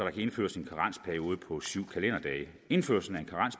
indføres en karensperiode på syv kalenderdage indførelsen